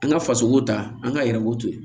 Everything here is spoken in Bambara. An ka faso ko ta an ka yɛrɛko to yen